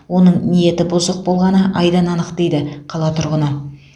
оның ниеті бұзық болғаны айдан анық дейді қала тұрғыны